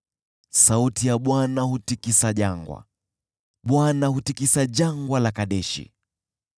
Sauti ya Bwana hutikisa jangwa; Bwana hutikisa Jangwa la Kadeshi.